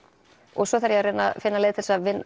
og svo þarf ég að reyna að finna leið til að